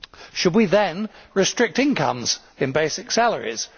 Should we then restrict incomes in basic salaries?